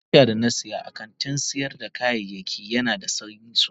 Abinsha da na siya a kantin sayar da kayayyaki Yana da sanyi sosai.